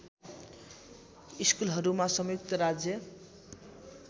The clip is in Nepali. स्कुलहरूमा संयुक्त राज्य